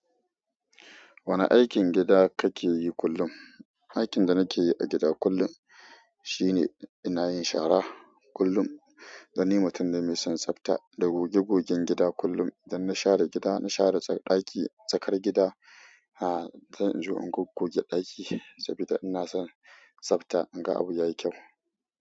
Wane aikin gida kake yi kullum? Aikin da nake yi a gida kullum shine ina yin shara kullum. Dan ni mutum ne mai son tsafta, da goge gogen gida kullum. Idan na share gida na share ɗaki tsakar gida ha, sai in je in goggoge ɗaki saboda ina son tsafta. In ga abu yayi kyau.